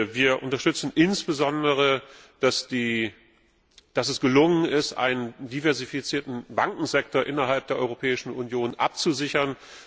Wir unterstützen insbesondere, dass es gelungen ist, einen diversifizierten Bankensektor innerhalb der Europäischen Union abzusichern.